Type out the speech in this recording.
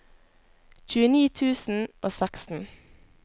tjueni tusen og seksten